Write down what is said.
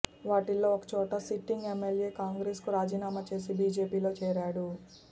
వాటిల్లో ఒక చోట సిట్టింగ్ ఎమ్మెల్యే కాంగ్రెస్ కు రాజీనామా చేసి బీజేపీలో చేరాడు